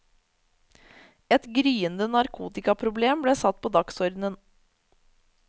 Et gryende narkotikaproblem ble satt på dagsordenen.